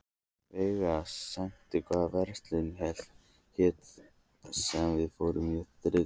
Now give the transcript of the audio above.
Veiga, manstu hvað verslunin hét sem við fórum í á þriðjudaginn?